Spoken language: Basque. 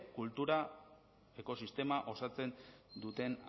kultura ekosistema osatzen duten